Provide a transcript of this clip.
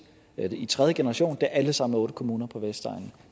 i tredje generation og er alle sammen kommuner på vestegnen